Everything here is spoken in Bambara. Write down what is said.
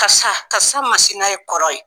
Kasa ka n'a ye kɔrɔ ye.